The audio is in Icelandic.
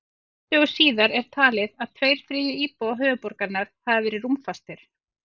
Fimm dögum síðar er talið að tveir þriðju íbúa höfuðborgarinnar hafi verið rúmfastir.